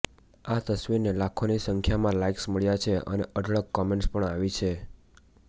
આ તસવીરને લાખોની સંખ્યામાં લાઈક્સ મળ્યા છે અને અઢળક કમેન્ટ્સ પણ આવી છે